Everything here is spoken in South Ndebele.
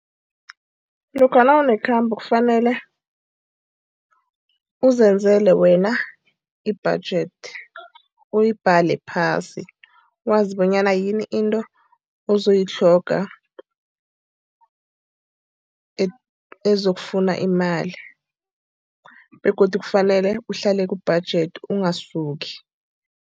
Lokha nawunekhambo kufanele uzenzele wena i-budget, uyibhale phasi. Wazi bonyana yini into ozoyitlhoga, ezokufuna imali begodu kufanele uhlale ku-budget, ungasuki.